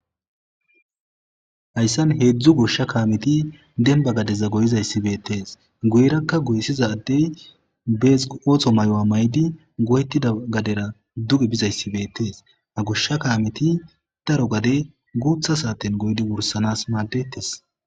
Hayssan heedzdzu goshsha kaameti demba gadeza goyizayssi beettees guyerakka goyssizaddey bees ootho maayo maayidi goyettida gadera duge bizayssi beettees a goshsha kaameti daro gade guutha saaten goydi wursanas maadetes.